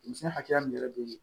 Denmisɛnnin hakɛya min yɛrɛ be yen